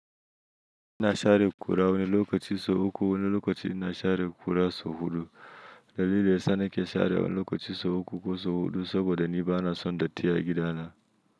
Ina share kura wane lokacin sau uku wane lokacin ina share kura sau huɗu. Dalili yasa nake share wani lokaci sau uku ko sau huɗu saboda ni ba na son datti a gidana.